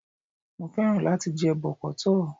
Mo fẹ́ràn láti jẹ bọ̀kọ́tọ̀